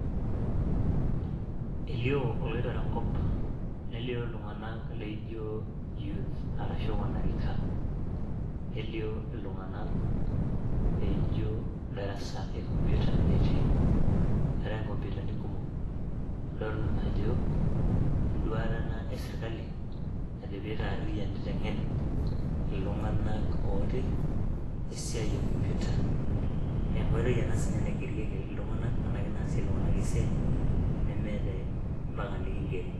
Eilioo oloitore nkop, nelio ltunganak naijo youth arashu wanarika nelio iltunganak naaijo darasa le ekompita etii, eatai kompitani kumok, adol ajo induata eserikali najo peitaaririyan neitengen ltunganak otii esiaai e kompita, enkoitoi ana si ninye naigerieki iltunganak anaake naasie ltunganak esiaai nemeeta empaka nikingeri.